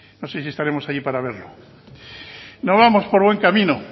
no sé si estaremos allí para verlo no vamos por buen camino